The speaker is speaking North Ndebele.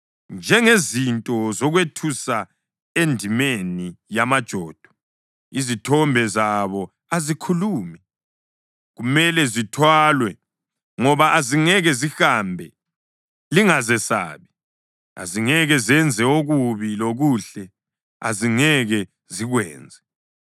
Njengezinto zokwethusa endimeni yamajodo, izithombe zabo azikhulumi, kumele zithwalwe ngoba azingeke zihambe. Lingazesabi, azingeke zenze okubi, lokuhle azingeke zikwenze.”